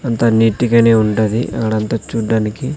అంతా నీట్ గానే ఉండాది ఆడంతా చూడ్డానికి.